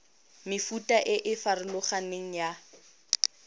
mefuta e e farologaneng ya